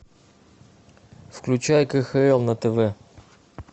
включай кхл на тв